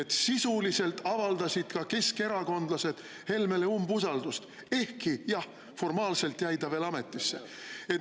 Et sisuliselt avaldasid ka keskerakondlased Helmele umbusaldust, ehkki jah, formaalselt jäi ta veel ametisse.